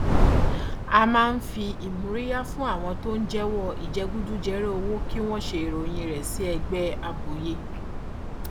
a máa ń fi ìmóríyá fún àwọn tó ń jẹwọ ìjẹgúdújẹra owó kí wọn ṣe ìròyìn rẹ sí ẹgbẹ àbòyé